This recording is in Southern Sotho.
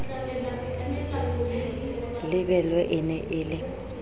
lebelwe e ne e le